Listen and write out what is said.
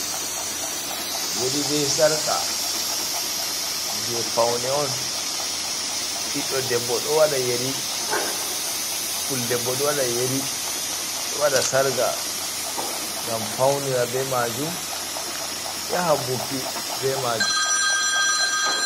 Yeri be Sarqa: Je paune on. Ɓiɗɗo debbo ɗo waɗa yeri, puldebbo ɗo waɗa yeri, ɗo waɗa sarga ngam faunira be majum, yaha buki be majum.